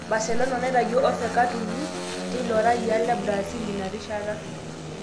Barcelona naitayio ofe kat uni te ilo rayiaa le Brazil inarishata.